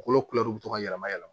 Kolo to ka yɛlɛma yɛlɛma